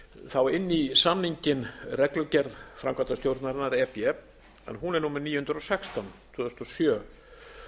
þá inn í samninginn reglugerð framkvæmdastjórnarinnar e b en hún er númer níu hundruð og sextán tvö þúsund og sjö